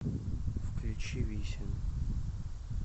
включи висин